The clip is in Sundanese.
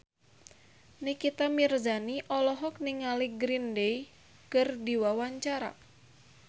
Nikita Mirzani olohok ningali Green Day keur diwawancara